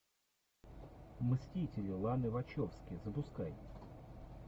мстители ланы вачовски запускай